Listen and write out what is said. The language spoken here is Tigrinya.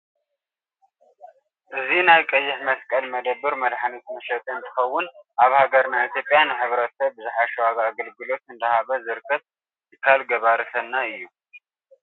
እዚ ናይ ቀይሕ መስቀል መደብር መድሓኒት መሸጢ እንትከውን ኣብ ሃገርና ኢትዮጵያ ንሕ/ሰብ ብዝሓሸ ዋጋ ግልጋሎት እንዳሃበ ዝርከብ ትካል ገበርቲ ሰናይ እዩ፡፡